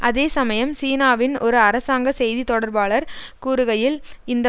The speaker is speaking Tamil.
அதே சமயம் சீனாவின் ஒரு அரசாங்க செய்தி தொடர்பாளர் கூறுகையில் இந்த